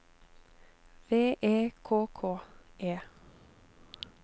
V E K K E